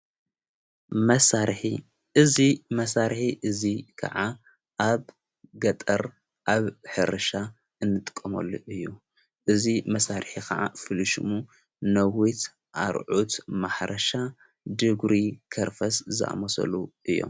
መሣርሒ እዙይ ከዓ ኣብ ገጠር ኣብ ሕርሻ እንጥቆመሉ እዩ እዙ መሣርሕ ኸዓ ፍልሹሙ ነወት ኣርዑት ማሕረሻ ድጉሪ ከርፈስ ዝኣመሰሉ እዮም።